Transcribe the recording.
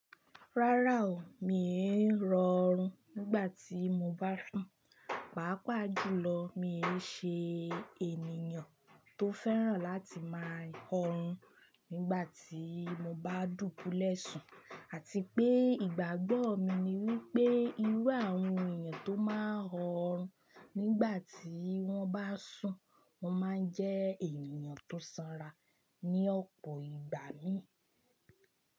Rárá o, mi èrò ọ̀rùn nígbà tí mo bá sùn, pàápàá jùlọ mi e ṣe ènìyàn tó fẹ́ràn láti máa ọ̀rùn nígbà tí mo bá dúbulẹ́sùn àti pé ìgbàgbọ́ mi ni wípé irú àwọn ènìyàn tó máa ń ọ̀rùn nígbà tí wón bá sùn, wón máa ń jẹ́ ènìyàn tó sanra ní ọ̀pọ̀ ìgbà mii.